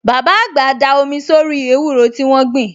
Bàbá àgbà da omi sórí ewúro tí wọ́n gbìn